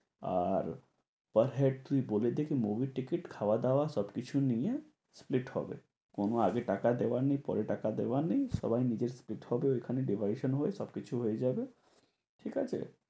আর per head তুই বলে দে কি movie র টিকিট খাওয়া দাওয়া সবকিছু নিয়ে split হবে। কোনো আগে টাকা দেয়ার নেই। পরে টাকা দেওয়ার নেই। সবাই নিজের ওখানে divide হয়ে সবকিছু হয়ে যাবে। ঠিকাছে?